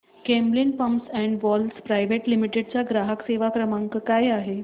Camlin pumps and valves private limited चा ग्राहक सेवा क्रमांक काय आहे